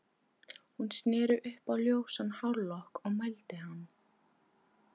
Hún sneri upp á ljósan hárlokk og mændi á hann.